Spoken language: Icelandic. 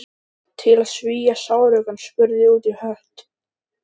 Einnig fundust stökkbreytingar sem gerðu framleiðslu prótínanna óháða mjólkursykrinum.